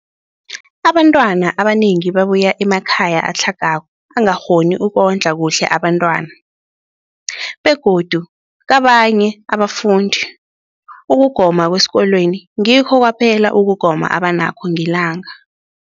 Abantwana abanengi babuya emakhaya atlhagako angakghoni ukondla kuhle abentwana, begodu kabanye abafundi, ukugoma kwesikolweni ngikho kwaphela ukugoma abanakho ngelanga.